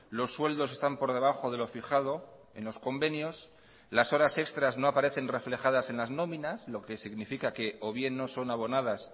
los sueldos están por debajo de lo fijado en los convenios las horas extras no aparecen reflejadas en las nóminas lo que significa que o bien no son abonadas